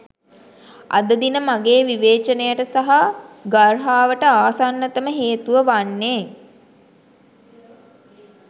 අද දින මගේ විවේචනයට සහ ගර්හාවට ආසන්නතම හේතුව වන්නේ